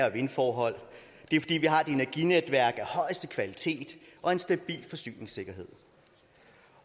og vindforhold fordi vi har et energinetværk af højeste kvalitet og en stabil forsyningssikkerhed